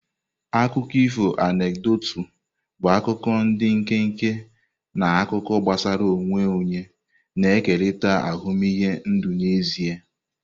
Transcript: Akụkọ ifo anekdotu bụ akuko ndi nkenke na akụkọ gbasara onwe onye na-ekerịta ahụmịhe ndụ n'ezie.